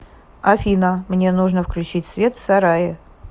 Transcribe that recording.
афина мне нужно включить свет в сарае